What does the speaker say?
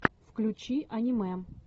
включи аниме